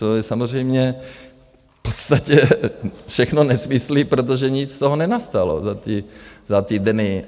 To jsou samozřejmě v podstatě všechno nesmysly, protože nic z toho nenastalo za ty dny.